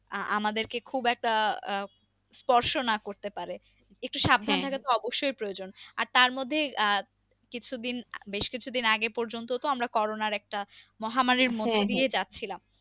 আমাদেরকে খুব একটা আহ স্পর্স না করতে পারে একটু সাবধানে অবশ্যই প্রয়োজন আর তারমধ্যে আহ কিছু দিন বেশ কিছু দিন আগে পর্যন্ত তো আমরা কোরোনার একটা মহামারীর যাচ্ছিলাম।